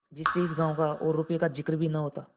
जिसमें इस गॉँव का और रुपये का जिक्र ही न होता